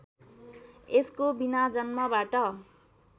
यसको बिना जन्मबाट